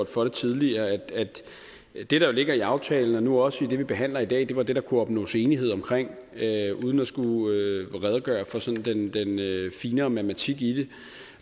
for det tidligere at det der jo ligger i aftalen og nu også i det vi behandler i dag var det der kunne opnås enighed omkring uden at skulle redegøre for sådan den finere matematik i det